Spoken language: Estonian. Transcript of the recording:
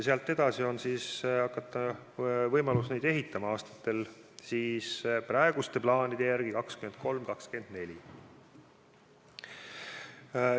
Sealt edasi on võimalus neid ehitama hakata praeguste plaanide järgi aastatel 2023 ja 2024.